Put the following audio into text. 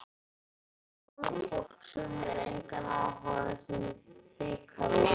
Hvað með fólk sem hefur engan áhuga á þessum bikarúrslitaleik?